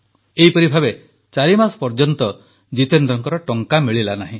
ଏହିପରି ଭାବେ ଚାରି ମାସ ପର୍ଯ୍ୟନ୍ତ ଜିତେନ୍ଦ୍ରଙ୍କ ଟଙ୍କା ମିଳିଲା ନାହିଁ